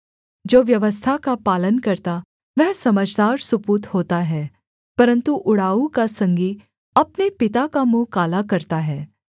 जो व्यवस्था का पालन करता वह समझदार सुपूत होता है परन्तु उड़ाऊ का संगी अपने पिता का मुँह काला करता है